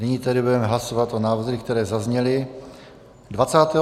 Nyní tedy budeme hlasovat o návrzích, které zazněly.